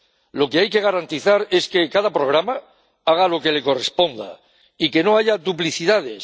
Lo que hay que garantizar es que cada programa haga lo que le corresponda y que no haya duplicidades.